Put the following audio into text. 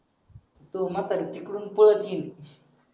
त म्हतारी तिकडून पळत येईल